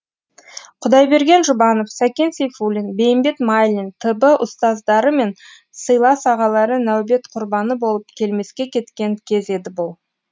құдайберген жұбанов сәкен сейфуллин бейімбет майлин т б ұстаздары мен сыйлас ағалары нәубет құрбаны болып келмеске кеткен кез еді бұл